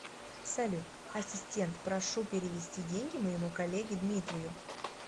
салют ассистент прошу перевести деньги моему коллеге дмитрию